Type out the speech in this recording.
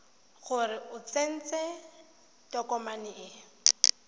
gore o tsentse tokomane e